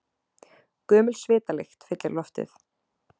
Gömul svitalykt fyllir loftið.